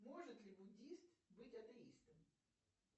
может ли буддист быть атеистом